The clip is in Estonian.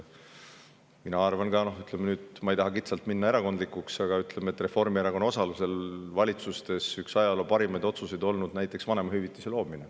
Mina arvan – ma ei taha kitsalt minna erakondlikuks, aga siiski –, et üks ajaloo parimaid valitsuse otsuseid oli Reformierakonna osalusel loodud vanemahüvitis.